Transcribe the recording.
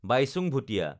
Bhaichung Bhutia